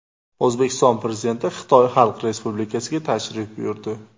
O‘zbekiston Prezidenti Xitoy Xalq Respublikasiga tashrif buyurdi.